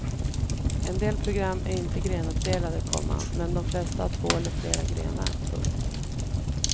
En del program är inte grenuppdelade, komma men de flesta har två eller flera grenar. punkt